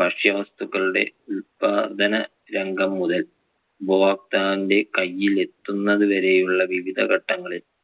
ഭക്ഷ്യവസ്തുക്കളുടെ ഉല്പാദന രംഗം മുതൽ ഉപഭോക്താവിന്‍റെ കൈയിൽ എത്തുന്നതുവരെ ഉള്ള വിവിധ ഘട്ടങ്ങളിൽ